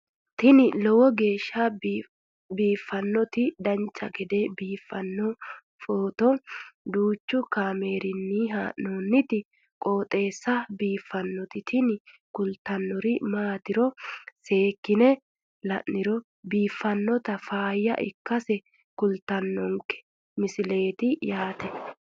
tini lowo geeshsha biiffannoti dancha gede biiffanno footo danchu kaameerinni haa'noonniti qooxeessa biiffannoti tini kultannori maatiro seekkine la'niro biiffannota faayya ikkase kultannoke misileeti yaate